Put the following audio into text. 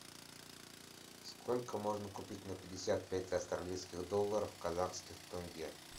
сколько можно купить на пятьдесят пять австралийских долларов казахских тенге